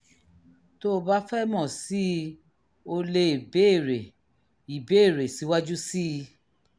tó o bá fẹ́ mọ̀ sí i o leè béèrè ìbéèrè síwájú sí i